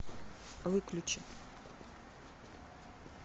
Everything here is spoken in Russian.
выключи